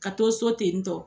Ka to so ten ni tɔ!